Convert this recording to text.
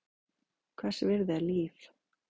Hvers virði er líf?